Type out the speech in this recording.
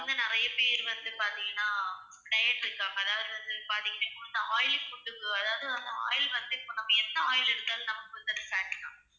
இப்ப வந்து நிறைய பேர் வந்து பாத்தீங்கன்னா diet இருக்காங்க. அதாவது வந்து பாத்தீங்கன்னா இப்போ வந்து oily food க்கு வ~ அதாவது வந்து oil வந்து இப்ப நம்ம என்ன oil எடுத்தாலும் நமக்கு வந்து அது fat தான்.